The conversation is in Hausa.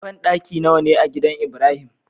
Banɗaki nawa ne a gidan ibrahim?